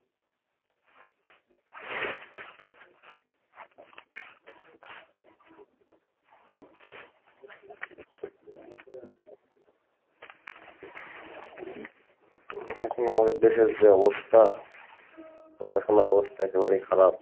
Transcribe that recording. এখন আমাদের দেশের যে অবস্থা, পড়াশোনার অবস্থা একেবারেই খারাপ।